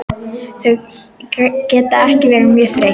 Þau geta ekki verið mjög þreytt.